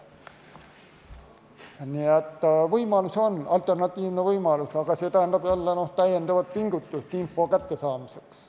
Nii et alternatiivseid võimalusi on, aga see tähendab jälle täiendavat pingutust info kättesaamiseks.